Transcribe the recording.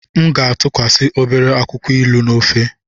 M ga-atụkwasị obere akwụkwọ ilu na ofe.